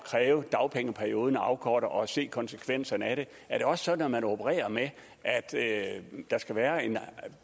kræve dagpengeperioden afkortet og se konsekvenserne af det er det også sådan at man opererer med at der skal være en